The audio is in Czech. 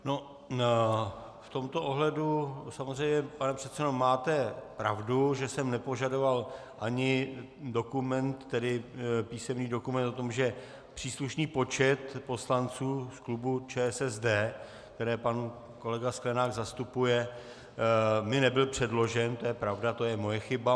No, v tomto ohledu samozřejmě, pane předsedo, máte pravdu, že jsem nepožadoval ani dokument, tedy písemný dokument o tom, že příslušný počet poslanců z klubu ČSSD, které pan kolega Sklenák zastupuje, mi nebyl předložen, to je pravda, to je moje chyba.